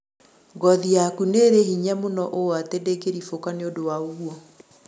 Ngothĩ yakũ nĩrĩ hĩnya mũno ũũ atĩ ndĩngĩrĩbũka nĩũndũ wa ũgũo